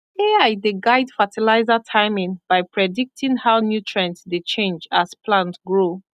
ai dey guide fertilizer timing by predicting how nutrient dey change as plant grow